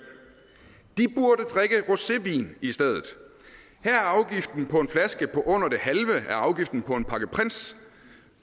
de burde drikke rosévin i stedet her er afgiften på en flaske under det halve af afgiften på en pakke prince